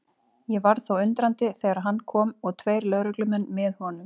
Ég varð þó undrandi þegar hann kom og tveir lögreglumenn með honum.